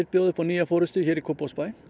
bjóða upp á nýja forystu hér í Kópavogi